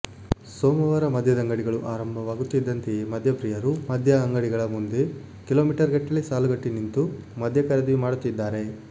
ಸೋಮವಾರ ಮದ್ಯದಂಗಡಿಗಳು ಆರಂಭವಾಗುತ್ತಿದ್ದಂತೆಯೇ ಮದ್ಯಪ್ರಿಯರು ಮದ್ಯದಂಗಡಿಗಳ ಮುಂದೆ ಕಿಲೋಮೀಟರ್ ಗಟ್ಟಲೆ ಸಾಲುಗಟ್ಟಿ ನಿಂತು ಮದ್ಯ ಖರೀದಿ ಮಾಡುತ್ತಿದ್ದಾರೆ